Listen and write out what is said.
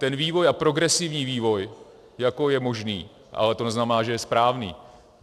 Ten vývoj a progresivní vývoj jako je možný, ale to neznamená, že je správný.